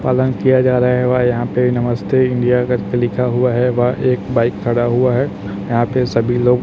पालन किया जा रहा है वा यहां पे नमस्ते इंडिया करके लिखा हुआ है वह एक बाइक खड़ा हुआ है यहां पे सभी लोग__